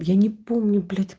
я не помню блять